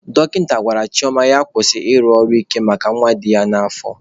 Dọkịta gwara Chioma na ya kwụsị ịrụ ọrụ ike maka nwa dị ya n'afọ.